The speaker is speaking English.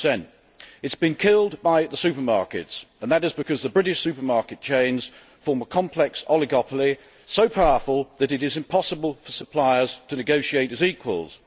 5 It has been killed by the supermarkets and that is because the British supermarket chains form a complex oligopoly so powerful that it is impossible for suppliers to negotiate as equals.